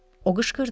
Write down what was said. O qışqırdı.